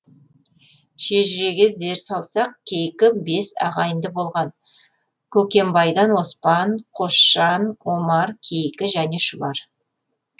шежіреге зер салсақ кейкі бес ағайынды болған көкембайдан оспан қосжан омар кейкі және шұбар